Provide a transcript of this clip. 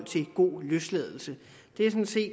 til god løsladelse